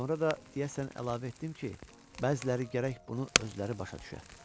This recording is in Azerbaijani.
Sonra da deyəsən əlavə etdim ki, bəziləri gərək bunu özləri başa düşə.